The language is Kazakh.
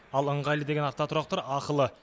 ал ыңғайлы деген автотұрақтар ақылы